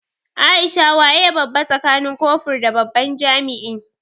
Aisha waye babba tsakanin kofur da babban jami'i?